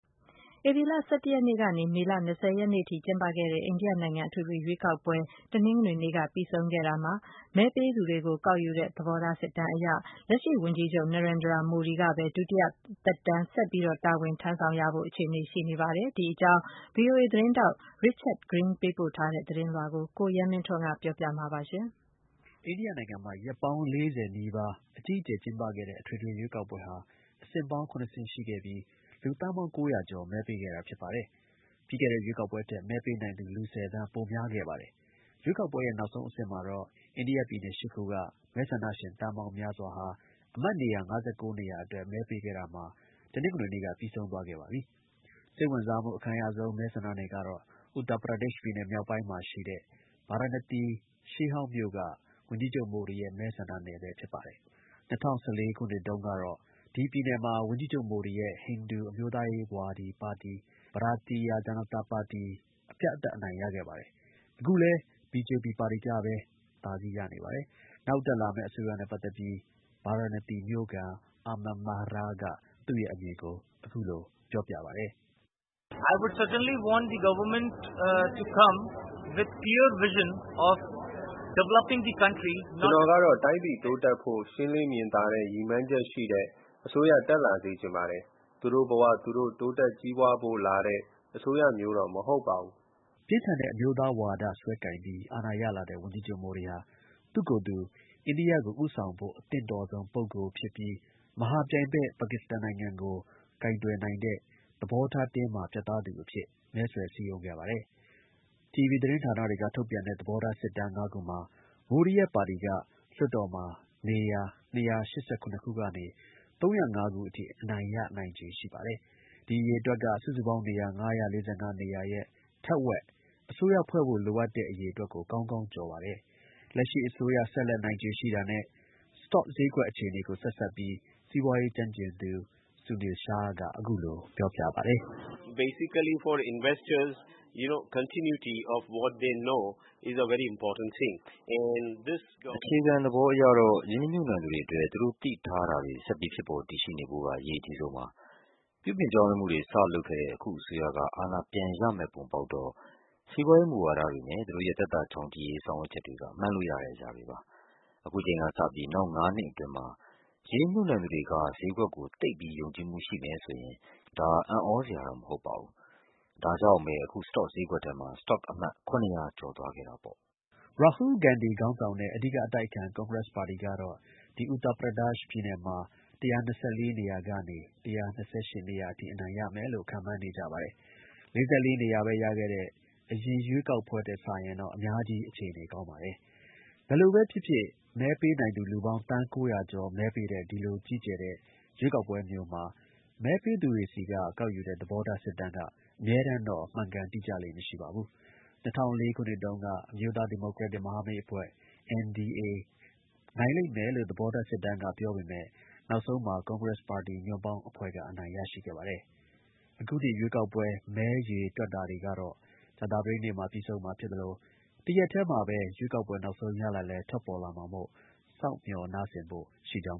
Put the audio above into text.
ဧပြီလ ၁၁ ရက်နေ့ကနေ မေလ ၂၀ ရက်နေ့အထိ ကျင်းပခဲ့တဲ့ အိန္ဒိယနိုင်ငံ အထွေထွေ ရွေးကောက်ပွဲ တနင်္ဂနွေနေ့က ပြီးဆုံးခဲ့ရာမှာ မဲပေးသူတွေကို ကောက်ယူတဲ့ သဘောထားစစ်တမ်းအရ လက်ရှိ ဝန်ကြီးချုပ် Narendra Modi က ပဲ ဒုတိယ သက်တမ်းဆက်လက် တာဝန်ထမ်းဆောင်ဖို့ အခြေအနေ ရှိနေပါတယ်။ ဒီ အကြောင်း ဗွီအိုအေ သတင်းထောက် Richard Green ပေးပို့ ထားတဲ့ သတင်းလွှာကို ကိုရဲမင်းထွန်းက တင်ပြပေးပါမယ်။ အိန္ဒိယ နိုင်ငံမှာ ရက်ပေါင်း ၄၀ အတွင်း အကြီးအကျယ် ကျင်းပခဲ့တဲ့ အထွေထွေ ရွေးကောက်ပွဲဟာ အဆင့်ပေါင်း ၇ ဆင့် ရှိပြီး လူသန်းပေါင်း ၉၀၀ ကျော် မဲပေးခဲ့တာ ဖြစ်ပါတယ်။ ပြီးခဲ့တဲ့ ရွေးကောက်ပွဲထက် မဲပေးနိုင်သူ လူ ၁၀ သန်း ပိုများခဲ့ပါတယ်။ ရွေးကောက်ပွဲရဲ့ နောက်ဆုံး အဆင့်မှာတော့ အိန္ဒိယ ပြည်နယ် ၈ ခုက မဲဆန္ဒရှင် သန်းပေါင်း များစွာဟာ အမတ် နေရာ ၅၉ နေရာအတွက် မဲပေးခဲ့တာမှာ တနင်္ဂနွေနေ့က ပြီးဆုံးသွားခဲ့ပါပြီ။ စိတ်ဝင်စားမှု အခံရဆုံး မဲဆန္ဒနယ်တစ်ခုကတော့ Uttar Pradesh ပြည်နယ် မြောက်ပိုင်းမှာရှိတဲ့ ဗာရာဏသီ ရှေးဟောင်းမြို့က ဝန်ကြီးချုပ် မိုဒီရဲ့ မဲဆန္ဒနယ်ပဲ ဖြစ်ပါတယ်။ ၂၀၁၄ ခုနှစ်မှာ ရွေးကောက်ပွဲမှာတုန်းက ဒီ ပြည်နယ်မှာ ဝန်ကြီးချုပ် မိုဒီရဲ့ ဟိန္ဒူ အမျိုးသားရေး ပါတီ Bharatiya Janata party အပြတ်အသတ် အနိုင်ရခဲ့ပါတယ်။ အခုလည်း BJP ပါတီကပဲ အသာစီးရနေပါတယ်။ နောက်တက်လာမယ့် အစိုးရနဲ့ ပတ်သက်ပြီး ဗာရာဏသီ မြို့ခံ Aman Mehra က သူ့ရဲ့အမြင်ကို အခုလို ပြောပြပါတယ်။ "ကျွန်တော်ကတော့ တိုင်းပြည် တိုးတက်ဖို့ ရှင်းလင်း မြင်သာတဲ့ ရည်မှန်းချက်ရှိတဲ့ အစိုးရ တက်လာစေချင်ပါတယ်။ သူတို့ဘ၀ သူတို့ တိုးတက်ကြီးပွားဖို့ လာတဲ့ အစိုးရမျိုးတော့ မဟုတ်ဘူး။" ပြင်းထန်တဲ့ အမျိုးသားဝါဒ စွဲကိုင်ပြီး အာဏာ ရလာတဲ့ ဝန်ကြီးချုပ် မိုဒီက အိန္ဒိယကို ဦးဆောင်ဖို့ အသင့်တော်ဆုံးဖြစ်ပြီး မဟာ ပြိုင်ဘက် ပါကစ္စကန်နိုင်ငံကို ကိုင်တွယ်နိုင်တဲ့ သဘောထား တင်းမာ ပြတ်သားတဲ့သူ အဖြစ် မဲဆွယ် စည်းရုံးခဲ့ပါတယ်။ တီဗွီ သတင်းဌာနတွေက ထုတ်ပြန်တဲ့ သဘောထား စစ်တမ်း ၅ ခုမှာ မိုဒီရဲ့ ပါတီက လွှတ်တော်မှာ နေရာ ၂၈၇ ခုကနေ ၃၀၅ ခုအထိ အနိုင်ရ နိုင်ခြေ ရှိပါတယ်။ ဒီ အရေအတွက်က စုစုပေါင်း နေရာ ၅၄၅ နေရာရဲ့ ထက်ဝက် အစိုးရ ဖွဲ့ဖို့ လိုအပ်တဲ့ နေရာ အရေအတွက်ကို ကောင်းကောင်း ကျော်ပါတယ်။ လက်ရှိ အစိုးရ ဆက်လက် နိုင်ခြေရှိတာနဲ့ စတော့ဈေးကွက် အခြေအနေကို ဆက်စပ်ပြီး စီးပွားရေး ကျွမ်းကျင်သူ Sunil Shah က အခုလို ပြောပါတယ်။ "အခြေခံ သဘောအရတော့ ရင်းနီမြှုပ်နှံသူတွေအတွက် သူတို့ သိထားတာတွေ ဆက်ပြီး ဖြစ်ပေါ်တည်ရှိနေဖို့က အရေးအကြီးဆုံးပါ။ ပြုပြင်ပြောင်းလဲမှုတွေ စ လုပ်ခဲ့တဲ့ အခု အစိုးရက အာဏာ ပြန်ရမယ့် ပုံပေါက်တော့ စီးပွားရေး မူဝါဒတွေနဲ့ သူတို့ရဲ့ သက်သာ ချောင်ချိရေး ဆောင်ရွက်ချက်တွေ မှန်းလို့ရတဲ့ အရာတွေပါ။ ခုချိန်ကစပြီး နောက် ၅ နှစ်အတွင်းမှာ ရင်းနှီးမြှုပ်နှံသူတွေက ဈေးကွက်ကို သိပ်ပြီး ယုံကြည်မှု ရှိမယ်ဆိုရင် အံ့သြစရာတော့ မဟုတ်ပါဘူး။ ဒါကြောင့်ပဲ အခု စတော့ ဈေးကွက်ထဲမှာ စတော့ အမှတ် ၇၀၀ ထက် ကျော်လွန်သွားခဲ့တာပေါ့။" ရာဟူးလ် ဂန္ဒီ ခေါင်းဆောင်တဲ့ အဓိက အတိုက်အခံ ကွန်ဂရက်ပါတီကတော့ ဒီ ပြည်နယ်မှာ ၁၂၄ နေရာကနေ ၁၂၈ နေရာအထိ အနိုင်ရမယ်လို့ ခန့်မှန်းနေကြပါတယ်။ ၄၄ နေရာပဲ ရခဲ့တဲ့ အရင်ရွေးကောက်ပွဲ ထက်စာရင်တော့ အများကြီး အခြေအနေကောင်းပါတယ်။ ဘယ်လိုပဲ ဖြစ်ဖြစ် မဲပေးနိုင်သူ လူပေါင်း သန်း ၉၀၀ ကျော် မဲပေးတဲ့ ဒီလို ကြီးကျယ်တဲ့ ရွေးကောက်ပွဲမျိုးမှာ မဲပေးသူတွေဆီက ကောက်ယူတဲ့ သဘောထား စစ်တမ်းက အမြဲတမ်းတော့ မှန်ကန် တိကျလေ့ မရှိပါဘူး။ ၂၀၀၄ ခုနှစ်တုန်းက အမျိုးသား ဒီမိုကရက်တစ် မဟာမိတ်အဖွဲ NDA နိုင်လိမ့်မယ်လို့ သဘောထား စစ်တမ်းက ပြောပေမယ့် နောက်ဆုံးမှာ ကွန်ကရက်စ်ပါတီ ညွန့်ပေါင်းအဖွဲ့က အနိုင်ရရှိခဲ့ပါတယ်။ အခု ရွေးကောက်ပွဲ မဲရေတွက်တာတွေကတော့ အခု ကြာသပတေးနေ့မှာ ပြီးဆုံးမှာ ဖြစ်သလို တစ်ရက်တည်းမှာပဲ ရွေးကောက်ပွဲ နောက်ဆုံး ရလဒ်လည်း ထွက်ပေါ်လာမှာမို့ စောင့်မျှော်နားဆင်ဖို့ ရှိကြောင်